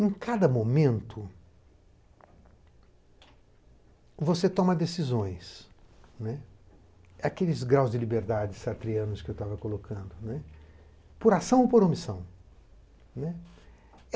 Em cada momento, você toma decisões, aqueles graus de liberdade sartreanos que eu estava colocando, por ação ou por omissão.